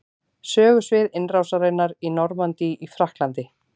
Sögusvið innrásarinnar í Normandí í Frakklandi.